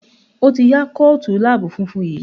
O tí ya Kóòtù lab funfun yí.